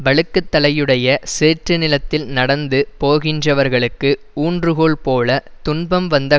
வழுக்குதலையுடைய சேற்று நிலத்தில் நடந்து போகின்றவர்களுக்கு ஊன்றுகோல் போல துன்பம் வந்த